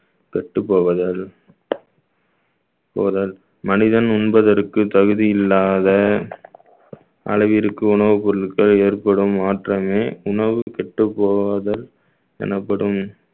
கெட்டு போவதால் போவதால் மனிதன் உண்பதற்கு தகுதி இல்லாத அளவிற்கு உணவுப் பொருட்கள் ஏற்படும் மாற்றமே உணவு கெட்டுப்போகாதல் எனப்படும்